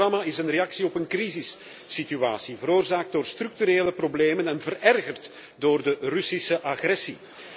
Dit programma is een reactie op een crisissituatie, veroorzaakt door structurele problemen en verergerd door de Russische agressie.